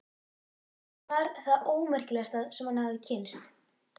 Hún var það ómerkilegasta sem hann hafði kynnst.